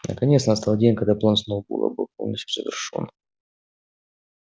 наконец настал день когда план сноуболла был полностью завершён